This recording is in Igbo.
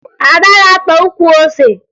Ada ga-akpa ukwu ose